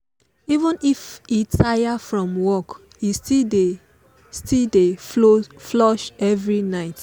even if e tire from work he still dey still dey floss every night.